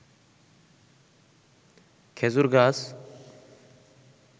খেজুর গাছ